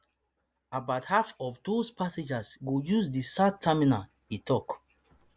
about half of those passengers go use di south terminal e tok